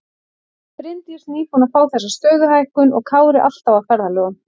Bryndís nýbúin að fá þessa stöðuhækkun og Kári alltaf á ferðalögum.